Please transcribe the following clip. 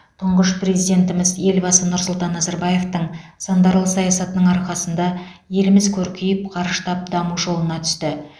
тұңғыш президентіміз елбасы нұрсұлтан назарбаевтың сандарлы саясатының арқасында еліміз көркейіп қарыштап даму жолына түсті